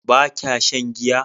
ba kya shan giya?